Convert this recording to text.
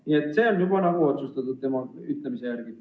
Nii et see on tema ütlemise järgi juba nagu otsustatud.